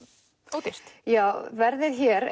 ódýrt já verðið hér